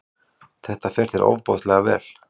Það fer þér ofsalega vel!